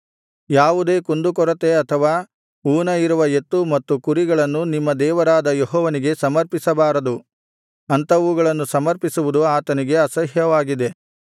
ಯಾವುದೇ ಕುಂದುಕೊರತೆ ಅಥವಾ ಊನ ಇರುವ ಎತ್ತು ಮತ್ತು ಕುರಿಗಳನ್ನು ನಿಮ್ಮ ದೇವರಾದ ಯೆಹೋವನಿಗೆ ಸಮರ್ಪಿಸಬಾರದು ಅಂಥವುಗಳನ್ನು ಸಮರ್ಪಿಸುವುದು ಆತನಿಗೆ ಅಸಹ್ಯವಾಗಿದೆ